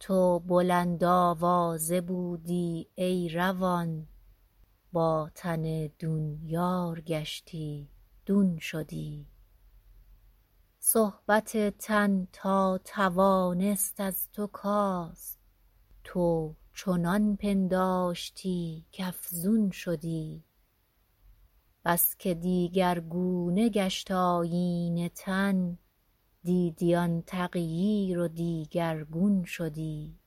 تو بلند آوازه بودی ای روان با تن دون یار گشتی دون شدی صحبت تن تا توانست از تو کاست تو چنان پنداشتی کافزون شدی بسکه دیگرگونه گشت آیین تن دیدی آن تغییر و دیگرگون شدی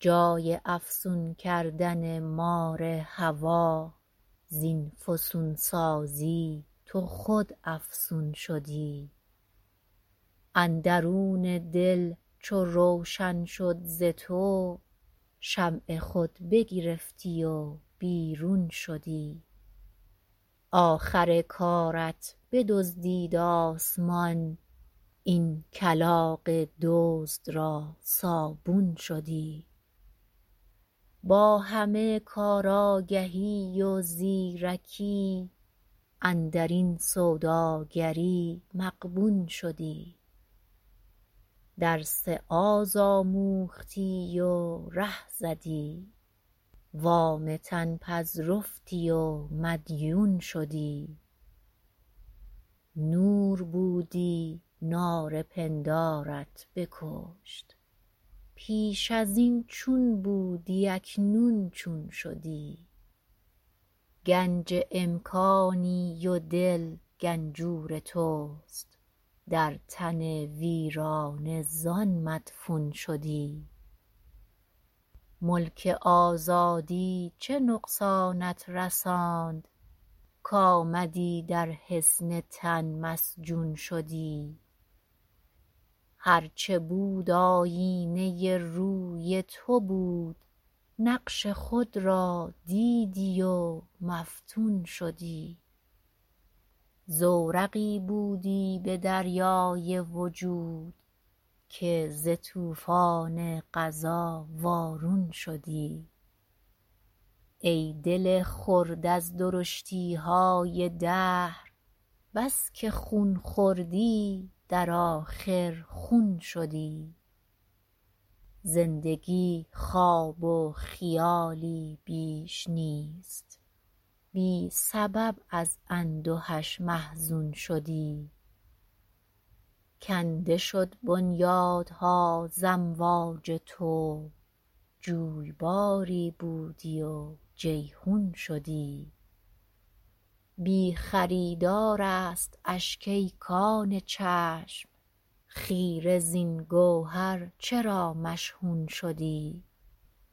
جای افسون کردن مار هوی زین فسونسازی تو خود افسون شدی اندرون دل چو روشن شد ز تو شمع خود بگرفتی و بیرون شدی آخر کارت بدزدید آسمان این کلاغ دزد را صابون شدی با همه کار آگهی و زیر کی اندرین سوداگری مغبون شدی درس آز آموختی و ره زدی وام تن پذرفتی و مدیون شدی نور بودی نار پندارت بکشت پیش از این چون بودی اکنون چون شدی گنج امکانی و دل گنجور تست در تن ویرانه زان مدفون شدی ملک آزادی چه نقصانت رساند کامدی در حصن تن مسجون شدی هر چه بود آیینه روی تو بود نقش خود را دیدی و مفتون شدی زورقی بودی بدریای وجود که ز طوفان قضا وارون شدی ای دل خرد از درشتیهای دهر بسکه خون خوردی در آخر خون شدی زندگی خواب و خیالی بیش نیست بی سبب از اندهش محزون شدی کنده شد بنیادها ز امواج تو جویباری بودی و جیحون شدی بی خریدار است اشک ای کان چشم خیره زین گوهر چرا مشحون شدی